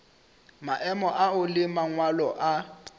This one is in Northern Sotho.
maemo ao le mangwalo a